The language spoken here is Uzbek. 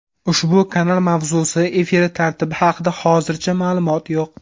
Ushbu kanal mavzusi, efiri tartibi haqida hozircha ma’lumot yo‘q.